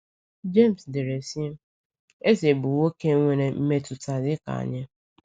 James dere, sị: “Eze bụ nwoke nwere mmetụta dị ka anyị.”